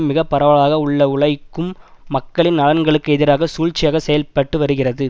மிக பரவலாக உள்ள உழைக்கும் மக்களின் நலன்களுக்கு எதிராக சூழ்ச்சியாக செயல்பட்டு வருகிறது